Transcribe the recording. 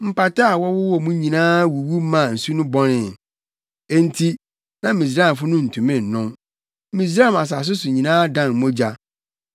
Mpataa a wɔwɔ mu nyinaa wuwu maa nsu no bɔnee, enti na Misraimfo no ntumi nnom. Misraim asase so nyinaa dan mogya.